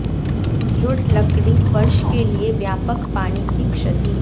दृढ़ लकड़ी फर्श के लिए व्यापक पानी की क्षति